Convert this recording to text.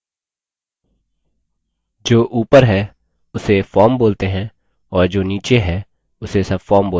जो ऊपर है उसे form बोलते हैं और जो नीचे है उसे subform बोलते हैं